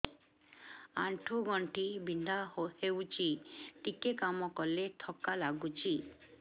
ଆଣ୍ଠୁ ଗଣ୍ଠି ବିନ୍ଧା ହେଉଛି ଟିକେ କାମ କଲେ ଥକ୍କା ଲାଗୁଚି